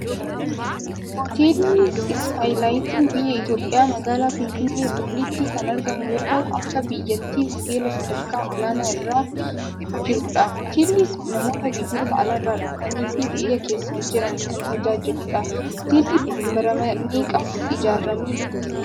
Hooteelli Iskaay Laayitiin biyya Itoophhiyaa magalaa Finfinnee booleetti kan argamu yoo ta'u akka biyyattitti hooteela sadakaa olaanaa irra jirudha. Hootilli kun namoota biyyoota alaarra dhufanii fi biyya keesa jiran kan tajaajiludha. Hooteelli kun bara meeqa ijaarrame?